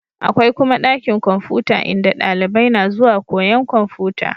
Akwai kuma ɗakin kwamfuta in da dalibai na zuwa koyan kwamfuta